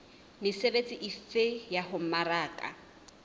mesebetsi efe ya ho mmaraka